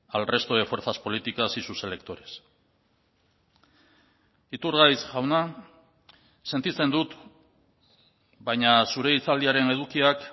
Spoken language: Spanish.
al resto de fuerzas políticas y sus electores iturgaiz jauna sentitzen dut baina zure hitzaldiaren edukiak